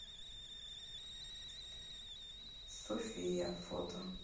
софия фото